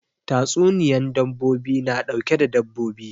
Tatsuniyan dabbobi na ɗauke da dabbobi